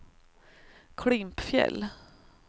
Klimpfjäll